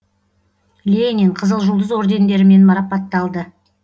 ленин қызыл жұлдыз ордендерімен марапатталды